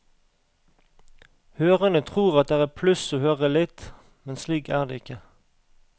Hørende tror at det er et pluss å høre litt, men slik er det ikke.